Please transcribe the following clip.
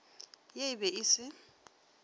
ye e be e se